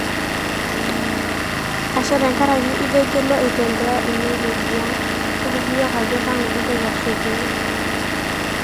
ashe tenkaraki itegelua aitembea ene wueji ang, toliki yiok ajo kanu intoki ashukunyue